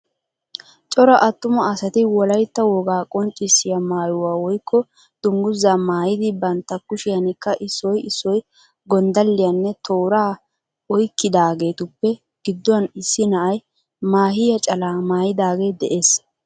Cora attuma asati wolayitta wogaa qonccissiya maayuwa woyikko dunguzaa maayidi bantta kushiyanikka issoy issoy gonddalliyanne tooraa oyikkidaageetuppe gidduwan issi na"ay maahiya calaa maayidagee de'ees